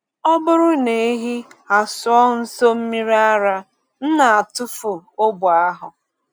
Ọ bụrụ na ehi asụọ nso mmiri ara, m na-atụfu ogbe ahụ.